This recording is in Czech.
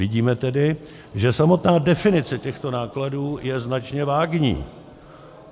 Vidíme tedy, že samotná definice těchto nákladů je značně vágní.